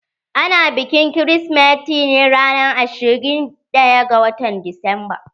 Ana bikin kirsimeti ne ranan ashirin da biyar ga watan disamba.